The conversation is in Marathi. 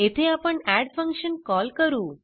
येथे आपण एड फंक्शन कॉल करू